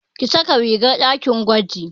Ki saka rigar ɗakin gwaji!